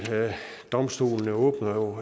domstolen åbner